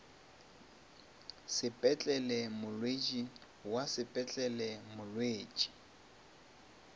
sepetlele molwetši wa sepetlele molwetši